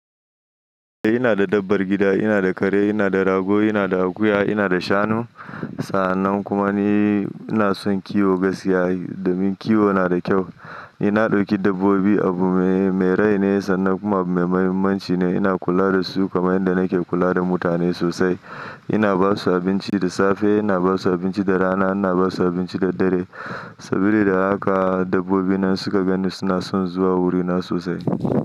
Eh ina da dabbar gida, ina da kare, ina da rago, ina da akuya, ina da shanu. Sa'annan kuma ni ina son kiwo gaskiya, domin kiwo na da kyau. Ina ɗauki dabbobi abu me rai ne sannan kuma mai muhimmanci ne. Ina kula da su kamar yadda nake kula da mutane sosai. Ina ba su abinci da safe, ina ba su abinci da rana, ina ba su abinci da dare. Sabida haka dabbobi nan suka gani suna son zuwa wurina sosai.